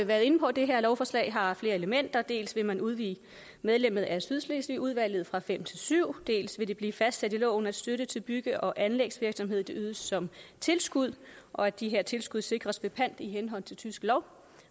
været inde på at det her lovforslag har flere elementer dels vil man udvide antallet medlemmer i sydslesvigudvalget fra fem til syv dels vil det blive fastsat i loven at støtte til bygge og anlægsvirksomhed ydes som tilskud og at de her tilskud sikres ved pant i henhold til tysk lov